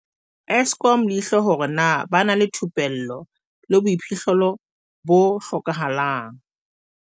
Eskom leihlo hore na ba na le thupello le boiphihlelo bo hlokahalang.